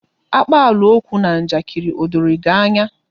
Akpalaokwu na njakiri, o doro gị anya?